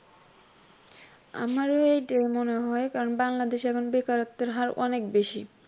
আমার এইটাই মনে হয় কারণ বাংলাদেশে এখন বেকারত্বের হার অনেক বেশি